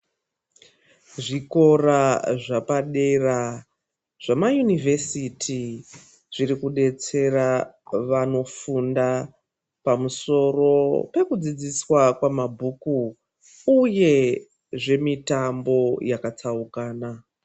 Zvikora zvepadera, zvemayunivhesiti zvirikudetsera vanofunda pamusoro pekudzidziswa kwamabhuku, uye zvemitambo yakatsaukana.